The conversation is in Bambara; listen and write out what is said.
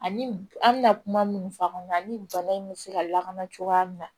Ani an bɛna kuma minnu fɔ an ɲɛna ni bana in bɛ se ka lakana cogoya min na